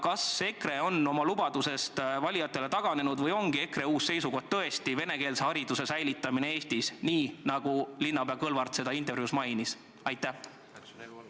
Kas EKRE on oma lubadusest valijatele taganenud või ongi EKRE uus seisukoht venekeelse hariduse säilitamine Eestis, nii nagu linnapea Kõlvart intervjuus mainis?